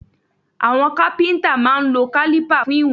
Àwọn Kápẹ́ńtà máa ń lo kálípà fún ìwọ̀n.